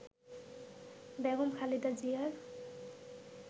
বেগম খালেদা জিয়ার